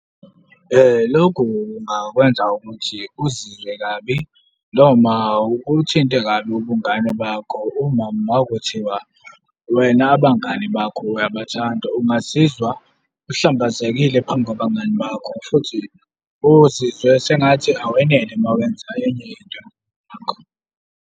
Lokhu kungakwenza ukuthi uzizwe kabi, noma kuthinte kabi ubungane bakho uma makuthiwa wena abangani bakho uyabathanda, ungazizwa uhlambazekile phambi kwabangani bakho futhi uzizwe sengathi awenele uma wenza enye into .